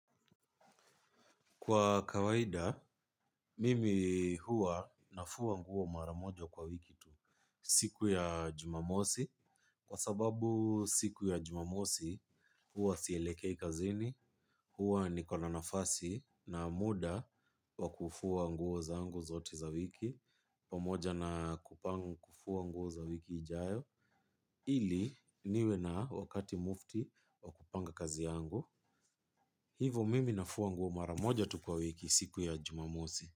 Kwa kawaida, mimi huwa nafua nguo maramoja kwa wiki tu siku ya jumamosi. Kwa sababu siku ya jumamosi huwa sielekei kazini, huwa nikona nafasi na muda wa kufua nguo zangu zote za wiki. Pamoja na kupanga kufua nguo za wiki ijayo. Ili niwe na wakati mufti wa kupanga kazi yangu. Hivo mimi nafua nguo maramoja tu kwa wiki siku ya jumamosi.